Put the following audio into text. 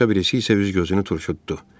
Başqa birisi isə cüc gözünü turşutdu.